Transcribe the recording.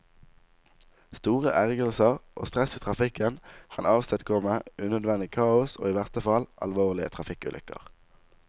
Store ergrelser og stress i trafikken kan avstedkomme unødvendig kaos og i verste fall, alvorlige trafikkulykker.